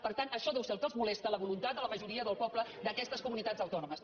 per tant això deu ser el que els molesta la voluntat de la majoria del poble d’aquestes comunitats autònomes